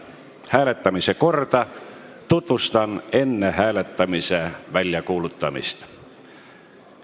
Hääletamise korda tutvustan enne hääletamise väljakuulutamist.